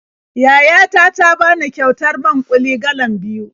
Yaya ta ta bani kyautar man-ƙuli galan biyu.